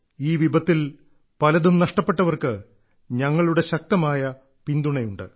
ഈ വിപത്തിൽ പലതും നഷ്ടപ്പെട്ടവർക്ക് ഞങ്ങളുടെ ശക്തമായ പിന്തുണയുണ്ട്